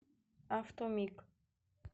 автомиг